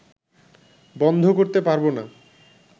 বন্ধ করতে পারব না